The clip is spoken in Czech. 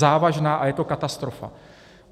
Závažná a je to katastrofa.